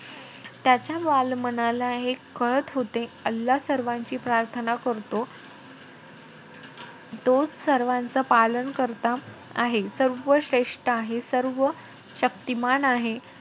त्याच्या बालमनाला हे कळत होते. अल्ला सर्वांची प्राथर्ना करतो तोच सर्वांचा पालनकर्ता आहे. सर्वश्रेष्ठ आहे. सर्वशक्तिमान आहे.